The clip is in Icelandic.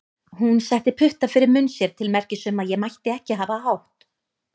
Hún setti putta fyrir munn sér til merkis um að ég mætti ekki hafa hátt.